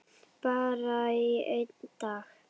Bara í einn dag.